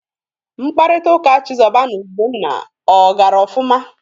Mkpakọrịta ụka Chizoba na Ugonna ọ gara ọfụma?